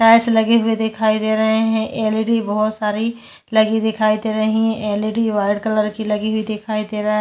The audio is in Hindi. कांच लगी हुए दिखाई दे रहै है एलईडी बहोत सारी लगी दिखाई दे रही है एलईडी वाइट कलर की लगी हुई दिखाई दे रहा है।